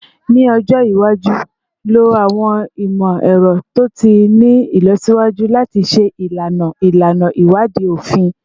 Ni ọjọ iwaju, lo awọn imọ-ẹrọ to ti ni ilọsiwaju lati ṣe ilana ilana iwadii ofin